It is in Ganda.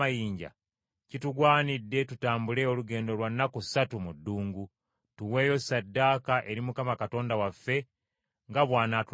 Kitugwanira tutambule olugendo lwa nnaku ssatu mu ddungu, tuweeyo ssaddaaka eri Mukama Katonda waffe nga bw’anaatulagira.”